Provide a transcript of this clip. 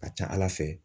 Ka ca ala fɛ